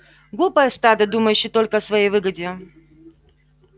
глупое стадо думающее только о своей выгоде